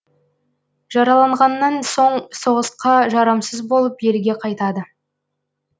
жараланғаннан соң соғысқа жарамсыз болып елге қайтады